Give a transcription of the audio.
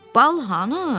Bal hanı?